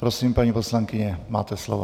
Prosím, paní poslankyně, máte slovo.